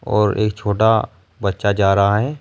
और एक छोटा बच्चा जा रहा है।